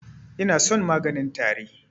Inason maganin tari.